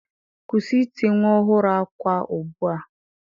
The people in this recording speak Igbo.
Kwụsị ịti nwa ọhụrụ akwa ugbu a.